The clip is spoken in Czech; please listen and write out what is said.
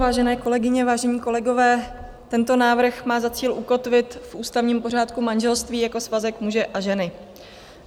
Vážené kolegyně, vážení kolegové, tento návrh má za cíl ukotvit v ústavním pořádku manželství jako svazek muže a ženy.